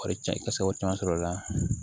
Wari ca i ka se k'o caman sɔrɔ o la